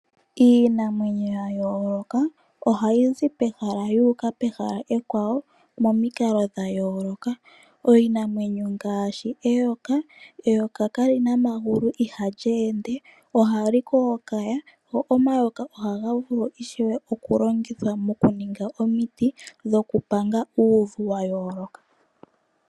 Iinamwenyo ya yooloka ohayi zi pehala yu uka pehala ekwawo momikalo dha yooloka. Iinamwenyo ngaashi eyoka, eyoka kali na omagulu ihali ende, ohali kookaya, go omayoka ohaga vulu ishewe oku longithwa moku ninga omiti dhoku panga uuvu wa yooloka.